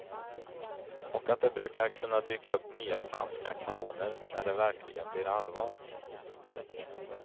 Och att det brukar kunna dyka upp nya franska kanoner när det verkligen blir allvar.